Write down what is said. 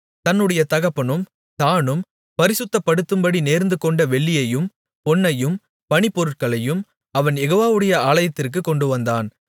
தன்னுடைய தகப்பனும் தானும் பரிசுத்தப்படுத்தும்படி நேர்ந்துகொண்ட வெள்ளியையும் பொன்னையும் பணிப்பொருட்களையும் அவன் யெகோவாவுடைய ஆலயத்திற்குக் கொண்டுவந்தான்